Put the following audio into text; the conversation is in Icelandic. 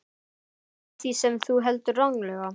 Skila því sem þú heldur ranglega.